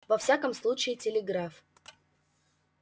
во всяком случае телеграф